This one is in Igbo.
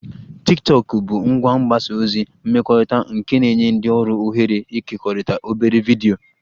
Tiktokụ bụ ngwa mgbasa ozi mmekọrịta nke na-enye ndị ọrụ ohere ịkekọrịta obere vidiyo